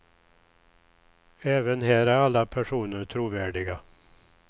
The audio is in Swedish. Även här är alla personer trovärdiga.